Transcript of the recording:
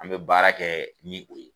An be baara kɛ ni o ye